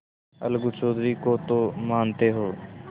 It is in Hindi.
अलगू चौधरी को तो मानते हो